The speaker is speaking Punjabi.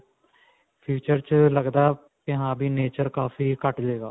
future 'ਚ ਲੱਗਦਾ ਕੀ ਹਾਂ ਵੀ nature ਕਾਫੀ ਘੱਟ ਜਾਏਗਾ.